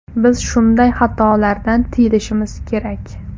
Biz shunday xatolardan tiyilishimiz kerak”.